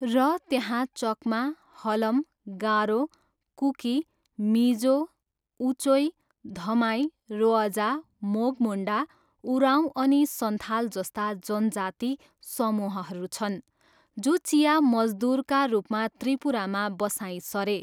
र त्यहाँ चक्मा, हलम, गारो, कुकी, मिजो, उचोई, धमाई, रोअजा, मोघ मुन्डा, उराँऊ अनि सन्थाल जस्ता जनजाति समूहहरू छन् जो चिया मजदुरका रूपमा त्रिपुरामा बसाइँ सरे।